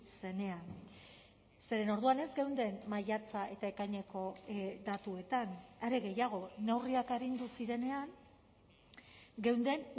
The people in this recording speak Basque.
zenean zeren orduan ez geunden maiatza eta ekaineko datuetan are gehiago neurriak arindu zirenean geunden